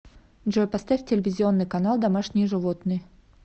джой поставь телевизионный канал домашние животные